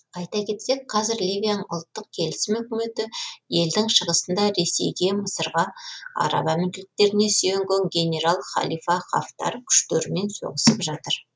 айта кетсек қазір ливияның ұлттық келісім үкіметі елдің шығысында ресейге мысырға араб әмірліктеріне сүйенген генерал халифа хафтар күштерімен соғысып жатыр